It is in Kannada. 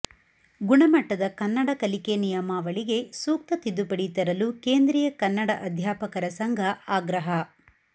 ಗುಣಮಟ್ಟದ ಕನ್ನಡ ಕಲಿಕೆ ನಿಯಮಾವಳಿಗೆ ಸೂಕ್ತ ತಿದ್ದುಪಡಿ ತರಲು ಕೇಂದ್ರೀಯ ಕನ್ನಡ ಅಧ್ಯಾಪಕರ ಸಂಘ ಆಗ್ರಹ